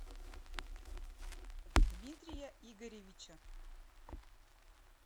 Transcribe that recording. дмитрия игоревича